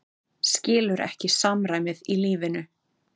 Skilur ekki samræmið í lífinu.